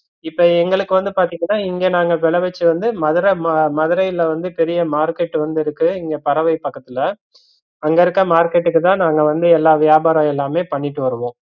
இப்ப எங்களுக்கு வந்து பாத்தீங்கன்னா இங்க நாங்க விளவிச்சத வந்து மதுர மதுரைல வந்து பெரிய market வந்து இருக்கு இங்க பறவை பக்கத்துல அங்க இருக்க market தா நாங்க வந்து எல்லா வியாபாரம் எல்லாமே பண்ணிட்டு வருவோம்